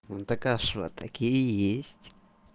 ну так а что такие есть